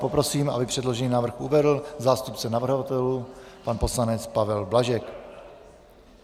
Poprosím, aby předložený návrh uvedl zástupce navrhovatelů pan poslanec Pavel Blažek.